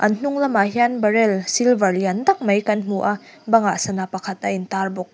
an hnung lamah hian barrel silver lian tak mai kan hmu a bangah sana pakhat a in tar bawk.